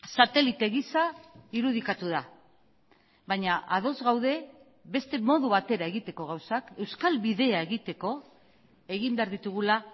satelite gisa irudikatu da baina ados gaude beste modu batera egiteko gauzak euskal bidea egiteko egin behar ditugula